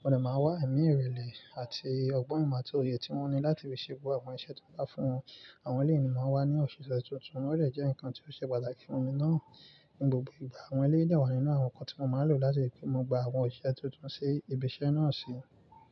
Wọ́n lè máa wà ẹ̀mí ìrẹ̀lẹ̀ àti ọgbọ́n ìmá tó yẹ tí wọ́n ní láti fi ṣe gbogbo àwọn iṣẹ́ tó dá fún wọn. Àwọn èleyì máa wà ní òṣìṣẹ́ tuntun. Wọ́n lè jẹ́ ǹkan tó ṣe pàtàkì fún mi náà ní gbogbo ìgbà. Àwọn eleyi mi dà wà nínú àwọn ǹkan tí mo máa lò láti pè mo gba àwọn òṣìṣẹ́ tuntun sí ibi iṣẹ́ náà sí.